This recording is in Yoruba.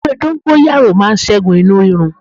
Ewé dóngóyárò màa ṣẹ́gun inú rírun